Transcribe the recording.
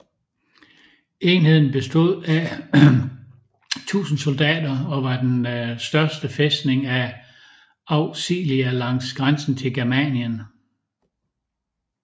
Enheden bestod af 1000 soldater og var den største fæstning af Auxilia langs grænsen til Germanien